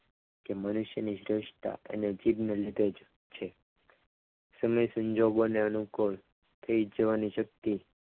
કે મનુષ્યની શ્રેષ્ઠતા અને જીભને લીધે જ છે સમય સંજોગોને અનુકૂળ તે જ જોવાની શક્તિ